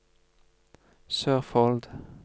Sørfold